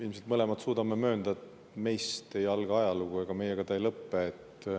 Ilmselt me mõlemad suudame möönda, et meist ei alga ajalugu ja meiega ta ei lõpe.